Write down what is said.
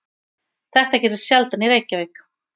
Þetta gerist sjaldan í Reykjavík.